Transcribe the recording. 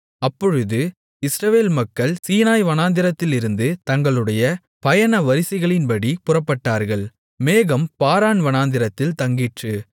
அப்பொழுது இஸ்ரவேல் மக்கள் சீனாய் வனாந்திரத்திலிருந்து தங்களுடைய பயண வரிசைகளின்படி புறப்பட்டார்கள் மேகம் பாரான் வனாந்திரத்தில் தங்கிற்று